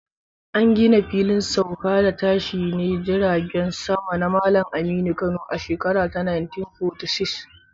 An gina Filin Sauka da Tashine Jiragen Sama na Malam Aminu Kano a shekara ta 1946